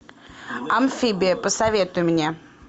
амфибия посоветуй мне